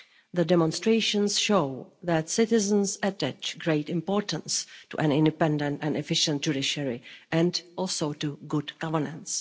The demonstrations show that citizens attach great importance to an independent and efficient judiciary and also to good governance.